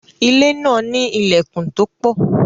ilé náà ní ìlèkùn to pọ̀